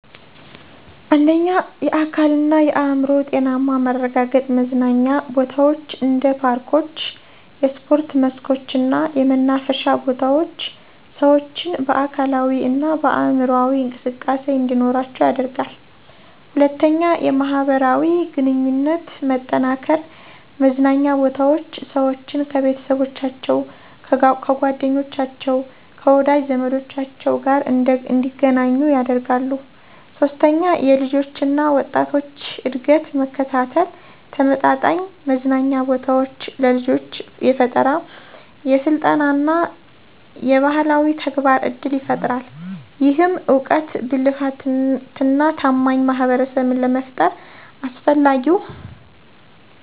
1. የአካልና የአዕምሮ ጤናማ ማረጋገጥ መዝናኛ ቦታዎች እንደ ፓርኮች፣ የስፖርት መስኮች እና የመናፈሻ ቦታዎች ሰዎችን በአካላዊ እና በአምሮአዊ እንቅስቃሴ እንዲኖራቸው ያደርጋል 2. የማህበራዊ ግንኙነት መጠናከር መዝናኛ ቦታዎች ሰዎችን፣ ከቤተሰቦቻቸው፣ ከጓደኞቻቸው፣ ከወዳጅ ዘመዶቻቸው ጋር እንደገናኙ ያደርጋሉ 3. የልጆች እና ወጣቶች እድገት መከታተል ተመጣጣኝ መዝናኛ ቦታዎች ለልጆች የፈጠራ፣ የስልጠና እና የባህላዊ ተግባር እድል ይፈጥራል። ይህም እውቀት፣ ብልህነትና ታማኝ ማህበረሰብን ለመፍጠር አስፈላጊው